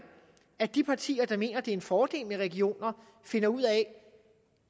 at de partier der mener det er en fordel med regioner finder ud af